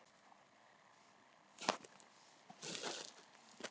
Hún ólst upp á Skagaströnd og var næstyngst sjö systkina.